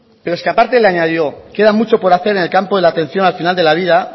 pero es que aparte le añadió queda mucho por hacer en el campo de la atención al final de la vida